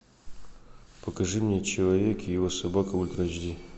покажи мне человек и его собака ультра эйч ди